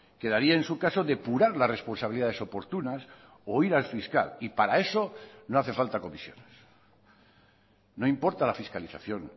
quedaría en su caso depurar las responsabilidades oportunas o ir al fiscal y para eso no hace falta comisiones no importa la fiscalización